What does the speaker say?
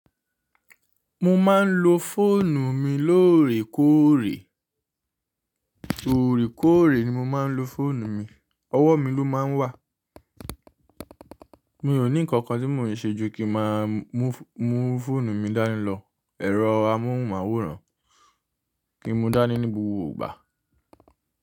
Mo máa ń lo fóònù mi lóòrèkóòrè, òrèkóòrè ni mo máa ń lo fóònù mi, ọwọ́ mi ló máa ń wà. Mi ò ní nǹkan tí mo ṣe ju kí màá mú fóònù mi dání lọ ẹ̀rọ amóhùnmáwòrán, kí n mú dání ní gbogbo ìgbà.